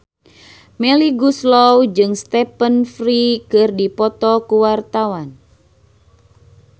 Melly Goeslaw jeung Stephen Fry keur dipoto ku wartawan